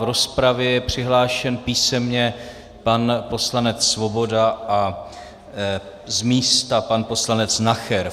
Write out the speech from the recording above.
V rozpravě je přihlášen písemně pan poslanec Svoboda a z místa pan poslanec Nacher.